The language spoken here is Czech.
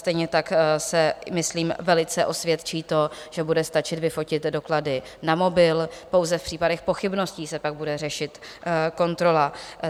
Stejně tak se myslím velice osvědčí to, že bude stačit vyfotit doklady na mobil, pouze v případech pochybností se pak bude řešit kontrola.